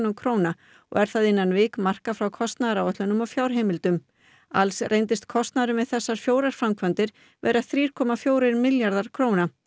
króna og er það innan vikmarka frá kostnaðaráætlunum og fjárheimildum alls reyndist kostnaðurinn við þessar fjórar framkvæmdir vera þrír komma fjórir milljarðar króna